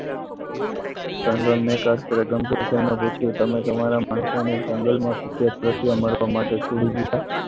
જંગલમાં મેં કભી ગંભીર થઈને પૂછ્યું તમે તમારા માણસોને જંગલમાં મરવા માટે છોડી દીધા.